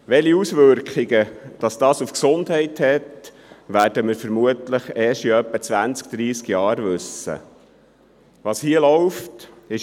Welche Auswirkungen das auf die Gesundheit hat, wissen wir vermutlich erst in circa zwanzig bis dreissig Jahren.